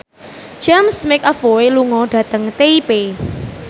James McAvoy lunga dhateng Taipei